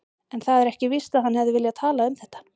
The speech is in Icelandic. En það er ekki víst að hann hefði viljað tala um þetta.